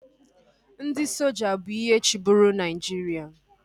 Ndị soja bụ ihe chịburu Naịjiria